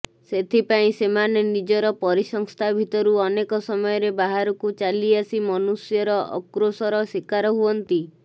ସେଥିପାଇଁ ସେମାନେ ନିଜର ପରିସଂସ୍ଥା ଭିତରୁ ଅନେକ ସମୟରେ ବାହାରକୁ ଚାଲିଆସି ମନୁଷ୍ୟର ଆକ୍ରୋଶର ଶିକାର ହୁଅନ୍ତି